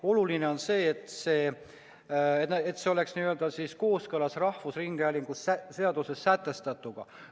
Oluline on see, et nende tegevus oleks kooskõlas rahvusringhäälingu seaduses sätestatuga.